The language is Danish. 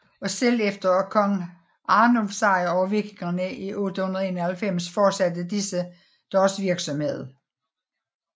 Og selv efter kong Arnulfs sejr over vikingerne 891 fortsatte disse deres virksomhed